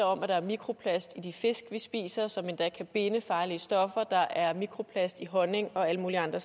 om at der er mikroplast i de fisk vi spiser som endda kan binde farlige stoffer der er mikroplast i honning og alle mulige andre